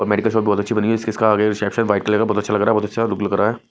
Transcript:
और medical shop बहुत अच्छी बनी है इसका आगे रिसेप्शन व्हाइट कलर का बहुत अच्छा लग रहा बहुत अच्छा लुक लग रहा है।